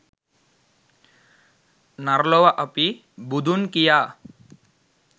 නර ලොව අපි "බුදුන්' කියා